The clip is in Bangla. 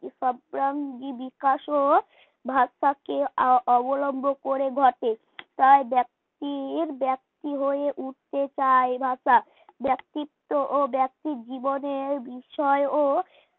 বিকাশ ও ভাষাকে অবলম্বন করে ঘটে প্রায় ব্যক্তির ব্যক্তি হয়ে উঠতে চায় ভাষা ব্যক্তিত্ব ব্যক্তির জীবনের বিষয়েও